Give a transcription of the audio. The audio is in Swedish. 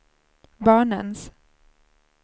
barnens